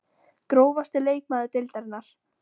Grófasti leikmaður deildarinnar?